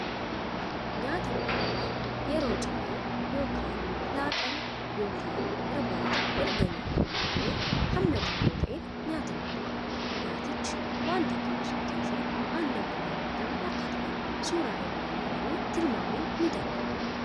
Nyaata mi'aawwaa yeroo ciree ykn laaqana ykn irbaata erga nyaatan booda hamma xiqqoo ta'een nyaatamuudha. Nyaatichi wanta akka buskuuttii fii aannan bunaan makame akka ta'e suuraa ilaalanii tilmaamun ni danda'ama.